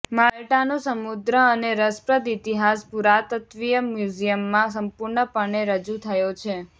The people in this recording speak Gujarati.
માલ્ટાનો સમૃદ્ધ અને રસપ્રદ ઇતિહાસ પુરાતત્વીય મ્યુઝિયમમાં સંપૂર્ણપણે રજૂ થયો છે